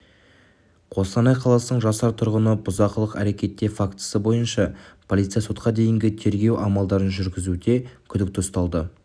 қостанай қаласының жасар тұрғыны бұзақылық әрекеті фактісі бойынша полиция сотқа дейінгі тергеу амалдарын жүргізуде күдікті ұсталды